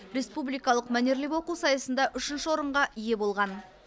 республикалық мәнерлеп оқу сайысында үшінші орынға ие болған